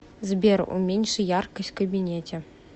сбер уменьши яркость в кабинете